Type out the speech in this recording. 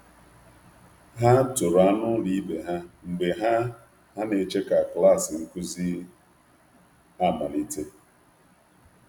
Ha toro anụ ụlọ ibe ha mgbe ha ha na-eche ka klas nkuzi amalite.